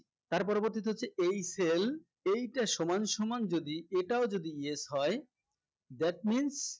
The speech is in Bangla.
তার পরবর্তীতে হচ্ছে এই cell এইটা সমানসমান যদি এটাও যদি yes হয় that means